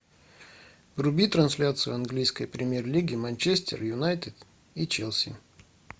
вруби трансляцию английской премьер лиги манчестер юнайтед и челси